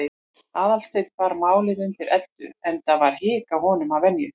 Aðalsteinn bar málið undir Eddu, enda var hik á honum að venju.